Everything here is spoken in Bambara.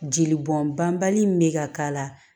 Jeli bɔn banbali min bɛ ka k'a la